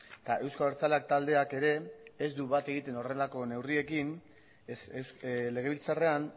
eta euzko abertzaleak taldeak ere ez du bat egiten horrelako neurriekin ez legebiltzarrean